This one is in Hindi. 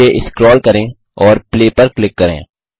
नीचे स्क्रोल करें और प्ले पर क्लिक करें